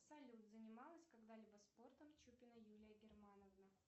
салют занималась когда либо спортом чупина юлия германовна